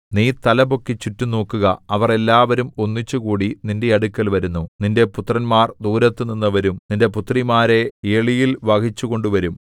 നീ തലപൊക്കി ചുറ്റും നോക്കുക അവർ എല്ലാവരും ഒന്നിച്ചുകൂടി നിന്റെ അടുക്കൽ വരുന്നു നിന്റെ പുത്രന്മാർ ദൂരത്തുനിന്ന് വരും നിന്റെ പുത്രിമാരെ എളിയിൽ വഹിച്ചുകൊണ്ടു വരും